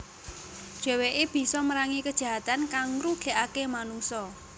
Dheweke bisa merangi kajahatan kang ngrugekake manungsa